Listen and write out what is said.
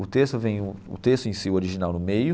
O texto vem o o texto em si, o original no meio,